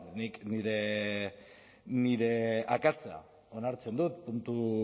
nik nire akatsa onartzen dut